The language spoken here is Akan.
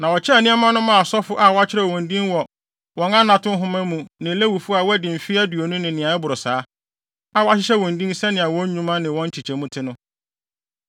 Na wɔkyɛɛ nneɛma no maa asɔfo a wɔakyerɛw wɔn din wɔ wɔn anato nhoma mu ne Lewifo a wɔadi mfe aduonu ne nea ɛboro saa, a wɔahyehyɛ wɔn din sɛnea wɔn nnwuma ne wɔn nkyekyɛmu te no.